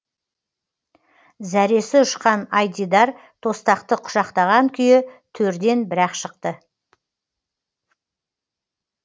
зәресі ұшқан айдидар тостақты құшақтаған күйі төрден бір ақ шықты